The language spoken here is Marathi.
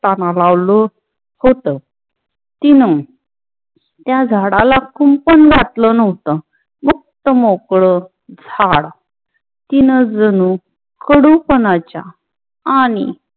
लावलं हुत. तिन त्या झाडाला कुंपण वाटल न हुत. मुख्त-मोकळ झाडा तीन जणू कडू पनाच्या आणि